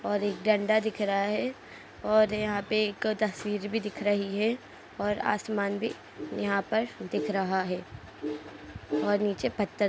और एक डंडा दिख रहा है और यहाँ एक तस्वीर भी दिख रही है और आसमान भी यहाँ पर दिख रहा है और नीचे पत्थर --